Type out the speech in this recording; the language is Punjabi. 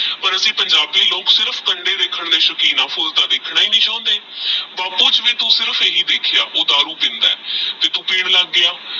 ਪਰ ਅਸੀਂ ਪੰਜਾਬੀ ਲੋਗ ਸਿਰਫ ਕੰਡੇ ਦੇਖਣ ਦੇ ਸ਼ੋਕੀਨ ਆਹ ਫੁਲ ਦਾ ਦੇਖਣਾ ਨਹੀ ਚੁਣਦੇ। ਬਾਪੁ ਵਿਚ ਵੀ ਤੂ ਸਿਰਫ ਇਹੀ ਦੇਖ੍ਯਾ ਓਹ ਦਾਰੂ ਪੀਂਦਾ ਆਹ ਫਿਰ ਤੂ ਪੀਣ ਲਾਗ ਪਾਯਾ